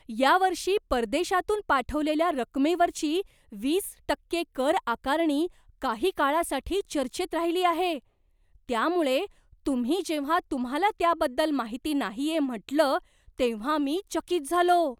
या वर्षी परदेशातून पाठवलेल्या रकमेवरची वीस टक्के कर आकारणी काही काळासाठी चर्चेत राहिली आहे, त्यामुळे तुम्ही जेव्हा तुम्हाला त्याबद्दल माहिती नाहीये म्हटलं तेव्हा मी चकित झालो.